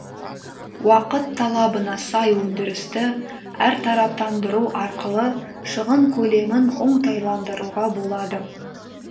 уақыт талабына сай өндірісті әртараптандыру арқылы шығын көлемін оңтайландыруға болады